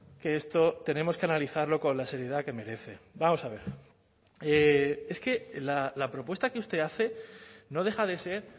que esto tenemos que analizarlo con la seriedad que merece vamos a ver es que la propuesta que usted hace no deja de ser